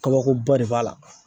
Kabakoba de b'a la.